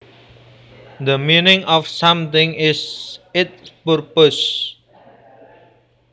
The meaning of something is its purpose